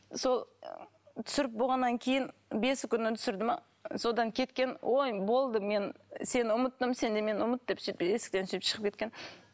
сол түсіріп болғаннан кейін бесі күні түсірді ме содан кеткен ой болды мен сені ұмыттым сен де мені ұмыт деп сөйтіп есіктен сөйтіп шығып кеткен